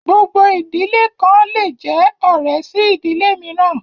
Gbogbo ìdílé kan le jẹ ọ̀rẹ́ sí ìdílé mìíràn